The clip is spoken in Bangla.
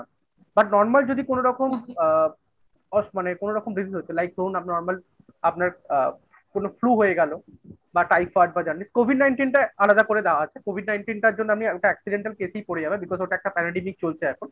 But normal যদি কোনোরকম আ মানে কোনোরকম business হচ্ছে, like করুন, আপনি normal আপনার আ কোনো flue হয়ে গেলো বা টাইফয়েড বা জন্ডিস COVID nineteen টায় আলাদা করে দেওয়া আছে COVID nineteen টার জন্য আমি একটা accidental case এই পড়ে যাবে because ওটা একটা চলছে এখন